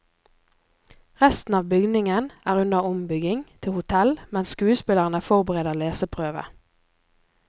Resten av bygningen er under ombygging til hotell, mens skuespillerne forbereder leseprøve.